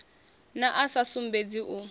na a sa sumbedzi u